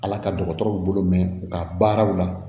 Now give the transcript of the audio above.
Ala ka dɔgɔtɔrɔw bolo mɛn u ka baaraw la